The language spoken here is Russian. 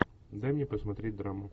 дай мне посмотреть драму